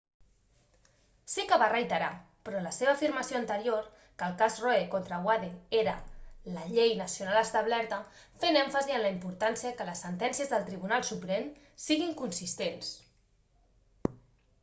sí que va reiterar però la seva afirmació anterior que el cas roe contra wade era la llei nacional establerta fent èmfasi en la importància que les sentències del tribunal suprem siguin consistents